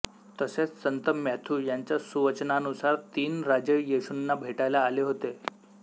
तसेच संत मॅॅथ्यू यांच्या सुवचनानुसार तीन राजे येशूंना भेटायला आले होते